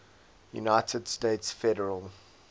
united states federal